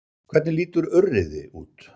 Hvernig lítur urriði út?